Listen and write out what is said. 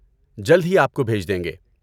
جلد ہی آپ کو بھیج دیں گے!